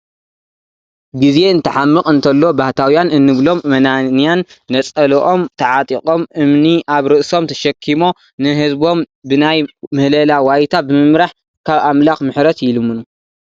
ግዜ እንትሓምቕ እንተሎ ባህታውያን እንብሎም መናንያን ነፀልኦም ተዓጢቖም እምኒ ኣብ ርእሶም ተሸኪሞ ንህዝቦም ብናይ ምህለላ ዋይታ ብምምራሕ ካብ ኣምላኽ ምሕረትይልምኑ፡፡